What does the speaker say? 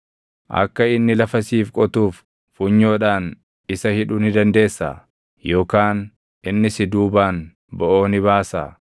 Akka inni lafa siif qotuuf funyoodhaan isa hidhuu ni dandeessaa? Yookaan inni si duubaan boʼoo ni baasaa?